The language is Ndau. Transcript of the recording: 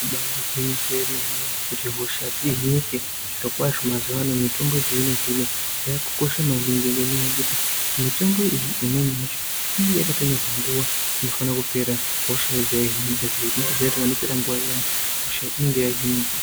Ibari gwinyiso yemene kuti hosha dzihinike zvirokwazvo mazuwano mitombo yechizvino zvino yakukosha maningi ngenyaya yekuti mitombo iyi imweni yacho inenge yakatonyorwa nguwa inofanira kupera hosha yobva yahinika zvekuti panopera nguwa iyani hosha inenge yahinika.